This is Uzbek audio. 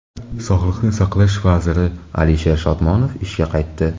Sog‘liqni saqlash vaziri Alisher Shodmonov ishga qaytdi.